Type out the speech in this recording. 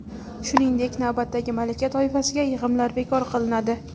Shuningdek, navbatdagi malaka toifasiga yig‘imlar bekor qilinadi.